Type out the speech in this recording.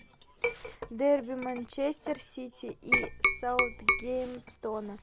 дерби манчестер сити и саутгемптона